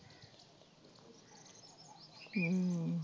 ਹਮ